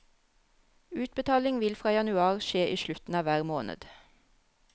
Utbetaling vil fra januar skje i slutten av hver måned.